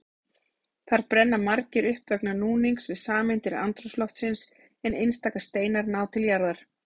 Þar brenna margir upp vegna núnings við sameindir andrúmsloftsins en einstaka steinar ná til jarðar.